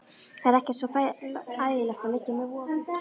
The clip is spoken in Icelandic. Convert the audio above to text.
Það er ekkert svo ægilegt að liggja með vofu.